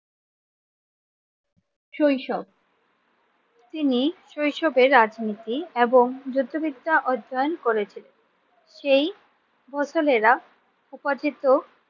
শৈশব, তিনি শৈশবের রাজনীতি এবং যুদ্ধবিদ্যা অর্জন করেছিলেন। সেই ফসলেরা উপার্জিত